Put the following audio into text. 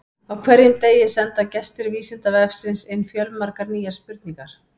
Á hverjum degi senda gestir Vísindavefsins inn fjölmargar nýjar spurningar.